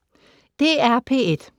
DR P1